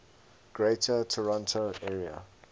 greater toronto area